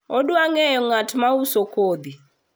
adwa ngeyo ngat ma uso kodhi